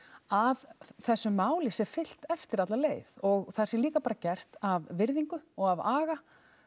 að þessu máli sé fylgt eftir alla leið og það sé líka bara gert af virðingu og af aga